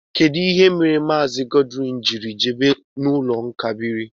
Kedụ ihe mere Maazi Godwin jírí jebe no ụlọ ezumike nká biri?